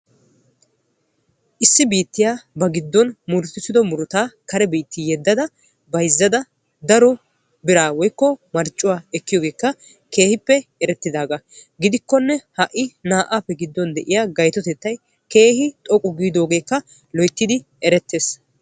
Issi biittiyaa ba giddon murutissido murutaa kare biitti yeddada bayzzada daro biraa woykko marccuwaa ekkiyoogekka keehi daroppe erettidagaa gidikkonne ha'ii naa"appe gidduwaan gaytotettay keehi xoqqu giidogekka keehi erettees.